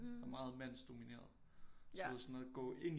Meget mandsdomineret så sådan noget gå ind